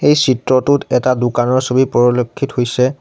এই চিত্ৰটোত এটা দোকানৰ ছবি পৰলক্ষিত হৈছে।